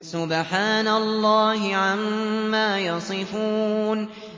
سُبْحَانَ اللَّهِ عَمَّا يَصِفُونَ